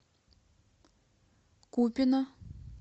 купино